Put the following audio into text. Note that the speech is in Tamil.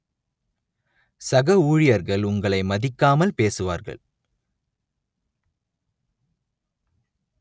சக ஊழியர்கள் உங்களை மதிக்காமல் பேசுவார்கள்